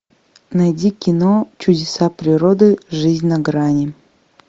найди кино чудеса природы жизнь на грани